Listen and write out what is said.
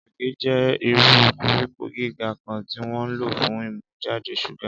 ìrèké jẹ́ irú koríko gíga kan tí wọ́n ń lò fún ìmújáde ṣúgà.